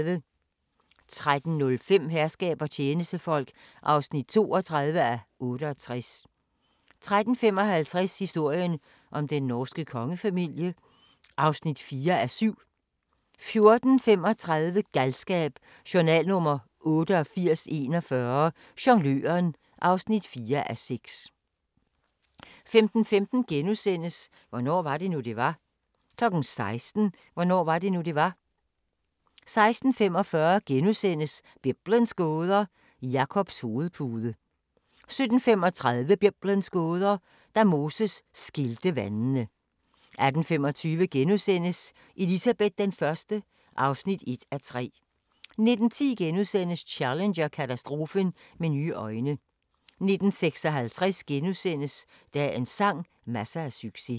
13:05: Herskab og tjenestefolk (32:68) 13:55: Historien om den norske kongefamilie (4:7) 14:35: Galskab: Journal nr. 8841 - Jongløren (4:6) 15:15: Hvornår var det nu, det var? * 16:00: Hvornår var det nu, det var? 16:45: Biblens gåder – Jakobs hovedpude * 17:35: Biblens gåder – Da Moses skilte vandene 18:25: Elizabeth I (1:3)* 19:10: Challenger-katastrofen med nye øjne * 19:56: Dagens sang: Masser af succes *